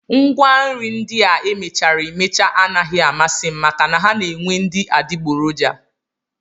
Ngwanri ndị a e mechara emecha anaghị amasị m maka na ha na-enwe ndị adigboroja